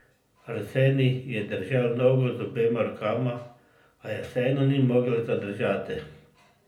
Arsenij je držal nogo z obema rokama, a je vseeno ni mogel zadržati.